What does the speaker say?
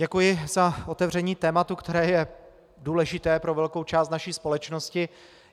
Děkuji za otevření tématu, které je důležité pro velkou část naší společnosti.